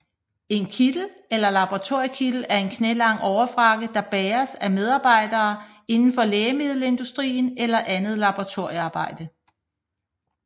En kittel eller laboratoriekittel er en knælang overfrakke der bæres af medarbejdere indenfor lægemiddelindustrien eller andet laboratoriearbejde